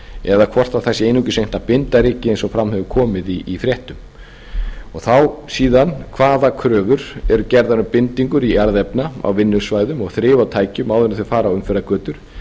eða hvort það sé einungis reynt að binda rykið eins og fram hefur komið í fréttum þá síðan hvað kröfur eru gerðar um bindingu jarðefna á vinnusvæðum og þrif á tækjum áður en þau fara á umferðargötur